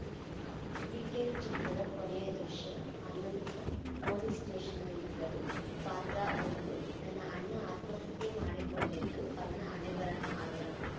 weekend ಚಿತ್ರದ ಕೊನೆಯ ದೃಶ್ಯ ಅನಂತ್‌ನಾಗ್‌ ಪೊಲೀಸ್‌ ಸ್ಟೇಷನ್‌ನಲ್ಲಿದ್ದರು ಪಾತ್ರ ಒಂದುನನ್ನ ಅಣ್ಣ ಆತ್ಮಹತ್ಯೆ ಮಾಡಿಕೊಂಡಿದ್ದು ಅವನ ಹಣೆಬರಹ ಅಲ್ಲ